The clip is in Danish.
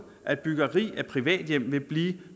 at byggeri af privathjem vil blive